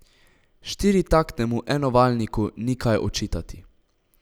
Štiritaktnemu enovaljniku ni kaj očitati.